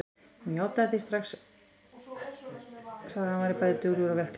Hún svaraði því strax játandi, sagði að hann væri bæði duglegur og verklaginn.